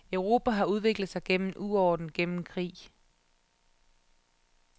Europa har udviklet sig gennem uorden, gennem krig.